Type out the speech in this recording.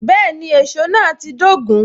Bẹẹni, èsó náà ti dogun